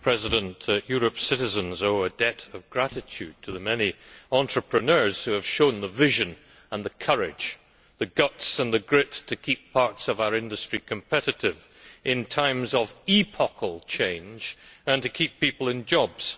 Madam President, Europe's citizens owe a debt of gratitude to the many entrepreneurs who have shown the vision and the courage, the guts and the grit to keep parts of our industry competitive in times of epochal change and to keep people in jobs.